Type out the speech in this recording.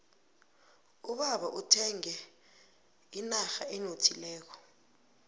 ubaba uthenge inrha enothileko